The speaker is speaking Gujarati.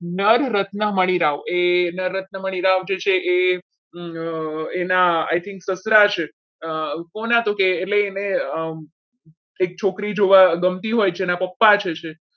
નરરત્ન મણી આવો એ એના રત્ન મણીરાજ જે છે એ એના એના I think સસરા છે કોના તો એટલે એને કે અમ એક છોકરી ગમતી હોય છે એના પપ્પા જે છે એ